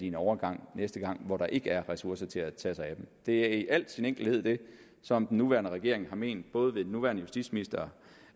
en overgang næste gang hvor der ikke er ressourcer til at tage sig af en det er i al sin enkelhed det som den nuværende regering har ment både ved den nuværende justitsminister